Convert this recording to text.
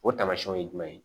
O taamasiyɛnw ye jumɛn ye